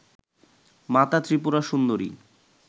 মাতা ত্রিপুরা সুন্দরী